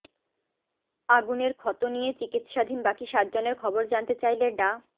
আগুনের ক্ষত নিয়ে চিকিৎসাধীন বাকি সাতজনের খবর জানতে চাইলে ডা